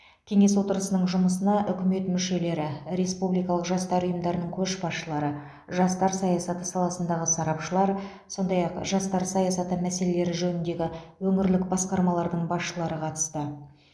кеңес отырысының жұмысына үкімет мүшелері республикалық жастар ұйымдарының көшбасшылары жастар саясаты саласындағы сарапшылар сондай ақ жастар саясаты мәселелері жөніндегі өңірлік басқармалардың басшылары қатысты